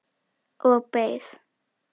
Og beið.